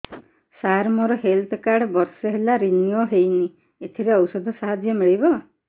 ସାର ମୋର health card ବର୍ଷେ ହେଲା ରିନିଓ ହେଇନି ଏଥିରେ ଔଷଧ ସାହାଯ୍ୟ ମିଳିବ